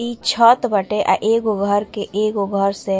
इ छत बाटे अ एगो घर के एगो घर से --